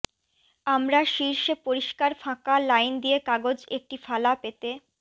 আমরা শীর্ষে পরিষ্কার ফাঁকা লাইন দিয়ে কাগজ একটি ফালা পেতে